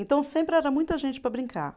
Então, sempre era muita gente para brincar.